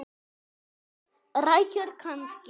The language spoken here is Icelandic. Rækjur kannski?